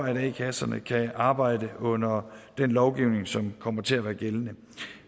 at a kasserne kan arbejde under den lovgivning som kommer til at være gældende